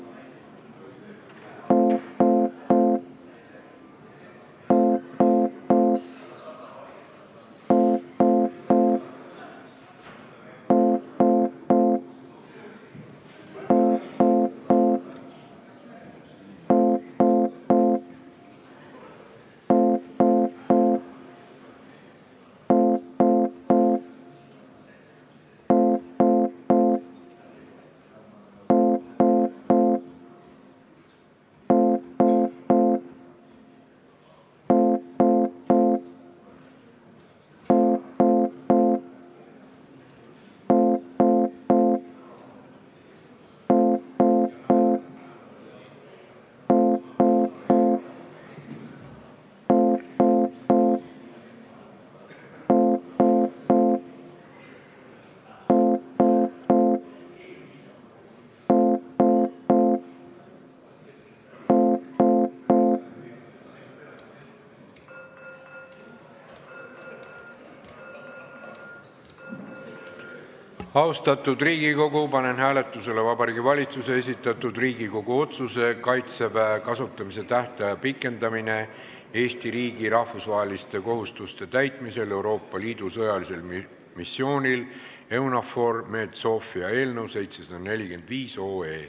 Austatud Riigikogu, panen hääletusele Vabariigi Valitsuse esitatud Riigikogu otsuse "Kaitseväe kasutamise tähtaja pikendamine Eesti riigi rahvusvaheliste kohustuste täitmisel Euroopa Liidu sõjalisel missioonil EUNAVFOR Med/Sophia" eelnõu 745.